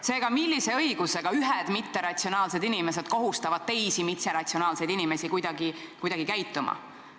Seega, mis õigusega ühed mitteratsionaalsed inimesed kohustavad teisi mitteratsionaalseid inimesi kuidagi käituma?